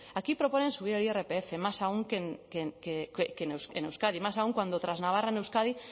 aquí proponen subir el irpf más aún que en euskadi más aún cuando tras navarra en euskadi